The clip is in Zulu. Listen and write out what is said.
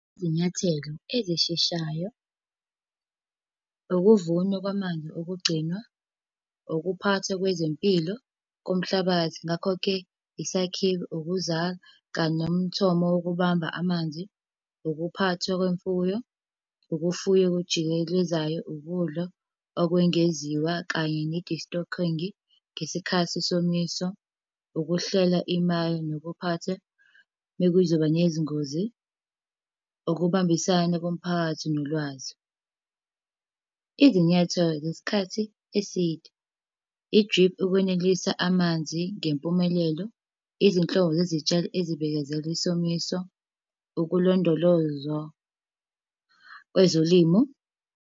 Izinyathelo ezisheshayo. Ukuvunwa kwamanzi okugcinwa. Ukuphathwa kwezempilo komhlabathi, ngakho-ke isakhiwo ukuza kanye nomthomo wokubamba amanzi. Ukuphathwa kwemfuyo, ukufuya okujikelezayo ukudla okwengeziwa kanye ngesikhathi somiso. Ukuhlela imali nokuphathwa mekuzoba nezingozi. Ukubambisana komphakathi nolwazi. Izinyathelo zesikhathi eside. I-drip ukwenelisa amanzi ngempumelelo. Izinhlobo zezitshalo ezibekezela isomiso. Ukulondolozwa kwezolimo.